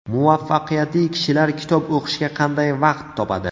Muvaffaqiyatli kishilar kitob o‘qishga qanday vaqt topadi?.